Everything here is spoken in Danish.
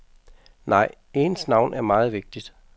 Nej, ens navn er meget vigtigt.